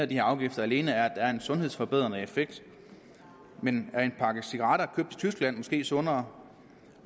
de her afgifter alene er at der en sundhedsforbedrende effekt men er en pakke cigaretter købt tyskland måske sundere